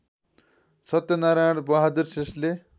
सत्यनारायण बहादुर श्रेष्ठले